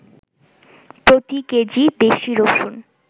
প্রতি কেজি দেশি রসুন